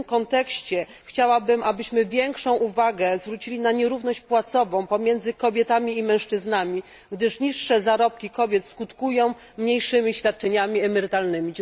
I w tym kontekście chciałabym, abyśmy większą uwagę zwrócili na nierówność płacową pomiędzy kobietami i mężczyznami, gdyż niższe zarobki kobiet skutkują mniejszymi świadczeniami emerytalnymi.